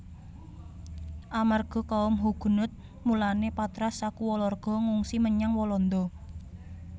Amarga kaum Huguenot mulané Patras sakulawarga ngungsi menyang Walanda